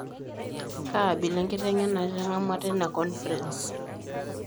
Kaabila enkiteng'ebare itang'amua teina conference?